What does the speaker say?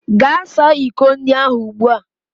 Gaa saa iko ndị ahụ ugbu a!